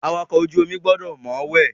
Awakọ̀ ojú omi gbọdọ̀ mọ̀ọ́wẹ̀.